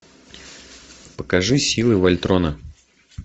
покажи силы вольтрона